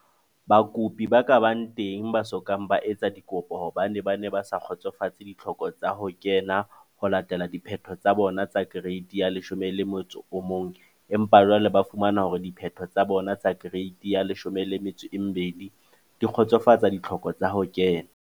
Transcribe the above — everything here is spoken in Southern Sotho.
Bakopi ba ka bang teng ba so kang ba etsa dikopo hobane ba ne ba sa kgotsofatse ditlhoko tsa ho kena ho latela diphetho tsa bona tsa Kereiti ya 11 empa jwale ba fumana hore diphetho tsa bona tsa Kereiti ya 12 di kgotsofatsa ditlhoko tsa ho kena.